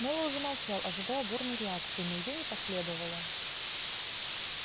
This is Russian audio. мэллоу замолчал ожидая бурной реакции но её не последовало